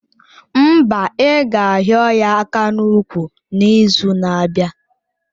Mba, ị ga hio ya aka n'úkwù n'izu na-abịa.